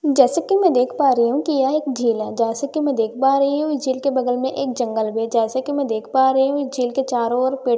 जैसे कि में देख पा रही हूँ कि यह एक झील है जैसे कि में देख पा रही हूँ झील के बगल में एक जंगल भी है जैसे कि में देख पा रही हूँ झील के चारो और पेट ल--